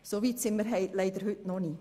Soweit sind wir heute leider noch nicht.